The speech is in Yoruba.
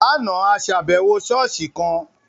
Láàna, a ṣàbẹwò ṣọ̀ọ́sì kan.